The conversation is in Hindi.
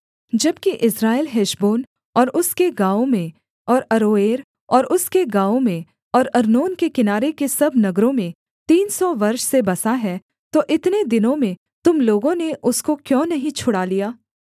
जबकि इस्राएल हेशबोन और उसके गाँवों में और अरोएर और उसके गाँवों में और अर्नोन के किनारे के सब नगरों में तीन सौ वर्ष से बसा है तो इतने दिनों में तुम लोगों ने उसको क्यों नहीं छुड़ा लिया